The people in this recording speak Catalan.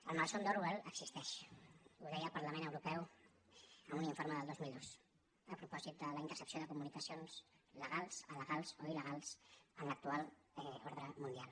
el malson d’orwell existeix ho deia el parlament europeu en un informe del dos mil dos a propòsit de la intercepció de comunicacions legals alegals o il·legals en l’actual ordre mundial